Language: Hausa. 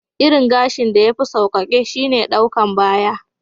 Irin gashin da ya fi saukeke shine ɗukan baya.